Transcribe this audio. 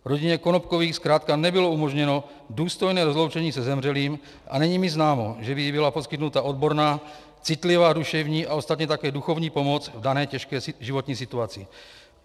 Rodině Konopkových zkrátka nebylo umožněno důstojné rozloučení se zemřelým a není mi známo, že by jí byla poskytnuta odborná, citlivá duševní a ostatně také duchovní pomoc v dané těžké životní situaci.